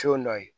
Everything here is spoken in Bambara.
So dɔ ye